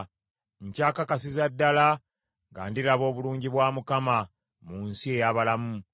Nkyakakasiza ddala nga ndiraba obulungi bwa Mukama mu nsi ey’abalamu.